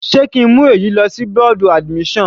Sé ki ń mú èyí lọ sí bọ́ọ̀dù admission?